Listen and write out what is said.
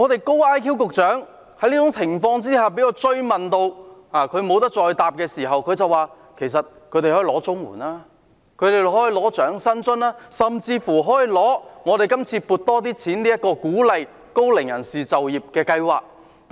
"高 IQ 局長"被我追問到不知如何回答時，便表示高齡人士可以領取綜合社會保障援助、長者生活津貼，受惠於這次獲多撥資源旨在協助高齡人士就業的計劃。